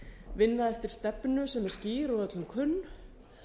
vinna eftir stefnu sem er skýr og öllum kunn